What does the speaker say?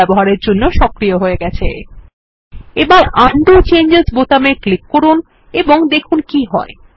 এখন window changes বোতামে click করুন এবং দেখুন কি হয়